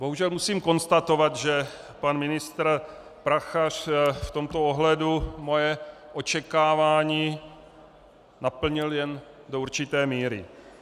Bohužel musím konstatovat, že pan ministr Prachař v tomto ohledu moje očekávání naplnil jen do určité míry.